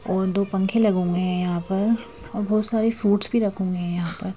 और दो पंखे लगे हुए यहां पर और बहुत सारे फ्रूट्स भी रखें हुए यहाँ पर--